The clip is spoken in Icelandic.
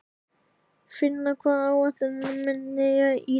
Finna, hvað er á áætluninni minni í dag?